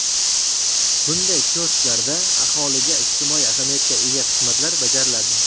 Bunday kiosklarda aholiga ijtimoiy ahamiyatga ega xizmatlar bajariladi.